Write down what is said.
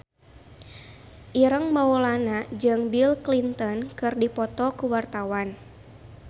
Ireng Maulana jeung Bill Clinton keur dipoto ku wartawan